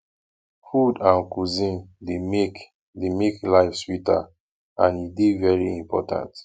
food and cuisine dey make dey make life sweeter and e dey very important